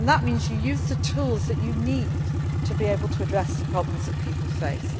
That means you use the tools that you need to be able to address the problems that people